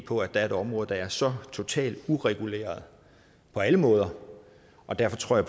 på at der er et område der er så totalt ureguleret på alle måder og derfor tror